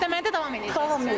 İşləməyə də davam eləyəcəm.